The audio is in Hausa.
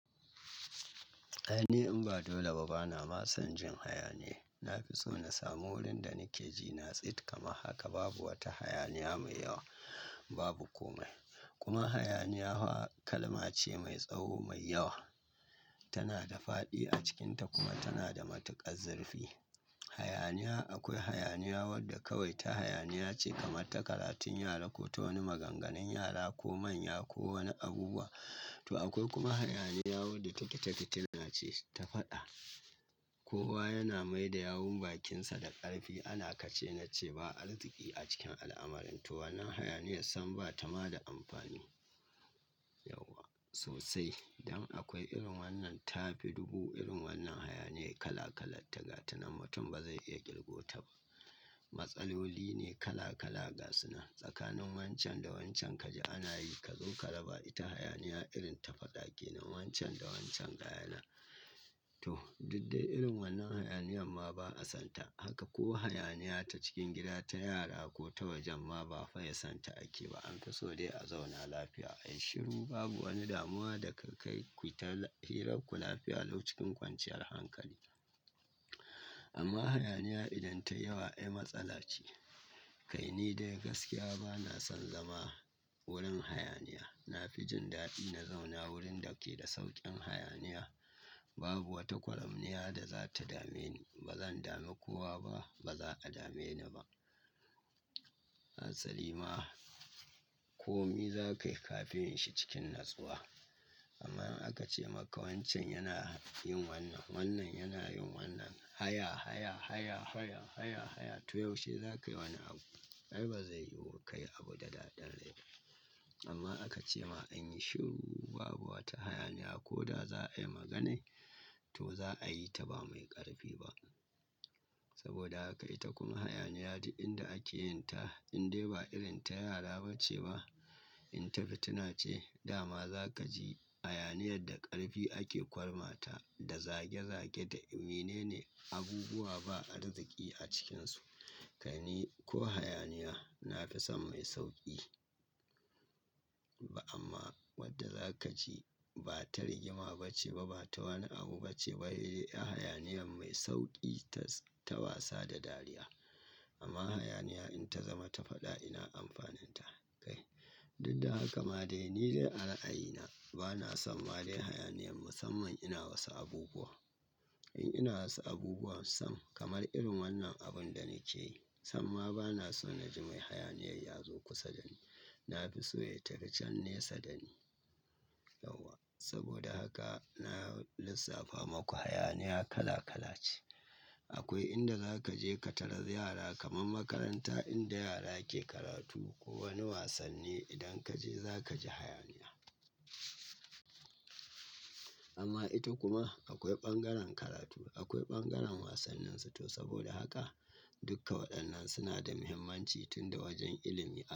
Ai ni in ba dole ba, bana ma son jin hayaniya. Na fi so na samu wurin da nake ji na tsit. Kama haka babu wata hayaniya mai yawa, babu komai. Kuma hayaniya kalma ce mai tsawo mai yawa. Tana da faɗi a cikinta kuma tana da matuƙar zurfi. Hayaniya, akwai hayaniya wadda kawai ta hayaniya ce kamar ta karatun yara ko ta wani maganganun yara ko manya ko wani abubuwa. To akwai kuma hayaniya wadda take ta fituna ce ta faɗa. Kowa yana mai da yawun bakinsa da ƙarfi. Ana kache na ce ba arziki a cikin al'amara. To wannan hayaniya san ba ta ma da amfani yauwa sosai. Dan akwai irin wannan tafi dubu irin wannan hayaniya kala-kala ta gata nammatun ba zai iya ƙirgo ta ba. Matsaloli ne kala-kala ga sunan. Tsakanin wancan da wancan kaji ana yi. Ka zo ka raba ita hayaniya irin ta faɗa kenan wancan da wancan gaya nan to, duk dai irin wannan hayaniyan ma ba a santa haka. Ko hayaniya ta cikin gida ta yara ko ta wajen ma ba faye santa ake ba. An fi so dai a zauna lafiya. Ai shiru babu wani damuwa da ka kai ku ta hira ku lafiya lau cikin kwanciyar hankali. Amma hayaniya idan tai yawa ai matsala ce. Kai ni dai gaskiya bana son zama wurin hayaniya. Na fi jin daɗi na zauna wurin da ke da sauƙin hayaniya. Babu wata ƙwaramniya da za ta dame ni. Ba zan dami kowa ba, ba za a dame ni ba. Asali ma komai za ka yi kafin shi cikin natsuwa. Amma in a ka ce maka wancan yana yin wannan, wannan yana yin wannan. Hayya, hayya, hayya, hayya, hayya, hayya. To yaushe za ka yi wani abu? Ai ba zai yiwu ka yi abu da daɗin rai. Amma aka ce ma an yi shiru babu wata hayaniya ko da za a yi maganai to za a yi ta ba mai ƙarfi ba. Saboda haka ita kuma hayaniya duk inda ake yin ta in dai ba irin ta yara ba ce ba, in ta fituna ce dama za ka ji hayaniyar da ƙarfi ake ƙwarma ta da zage-zage da mine ne abubuwa ba arziki a cikinsu. Kai ni ko hayaniya na fi son mai sauƙi. Ba amma wadda za ka ji ba ta rigima ba ce ba, ba ta wani abu ba ce ba. Hayaniyan mai sauƙi ta, ta wasa da dariya. Amma hayaniya in ta zama ta faɗa ina amfaninta. Kai, duk da haka ma dai ni dai a ra'ayina bana son ma dai hayaniyan musamman ina wasu abubuwa. In ina wasu abubuwa sam kamar irin wannan abun da nake yi, sam ma bana so na ji mai hayaniya ya zo kusa da ni. Na fi so ya tafi can nesa da ni. Yauwa. Saboda haka na lissafa maku hayaniya kala-kala ce. Akwai inda za ka je ka tarar yara kamar makaranta inda yara ke karatu ko wani wasanni idan ka je za ka ji hayaniya. Amma ita kuma akwai bangaren karatu, akwai bangaren wasanninsu. To saboda haka dukka waɗannan suna da muhimmanci tun da wajen ilimi aka.